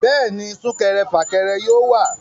Bẹ́ẹ̀ni, súnkẹrẹ fàkẹrẹ yóò wà